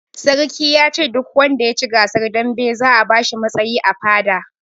Sarki yace duk wanda yaci gasar dambe za a bashi matsayi a fada